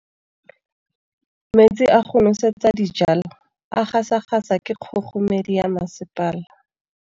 Metsi a go nosetsa dijalo a gasa gasa ke kgogomedi ya masepala.